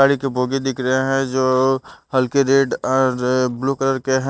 गाड़ी के बोगी दिख रहे है जो हल्के रेड और ब्लू कलर के है।